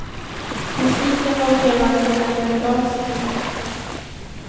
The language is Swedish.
Musiken var levande när det begav sig.